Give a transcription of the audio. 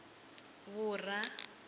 vhura